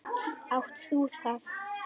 Átt þú það?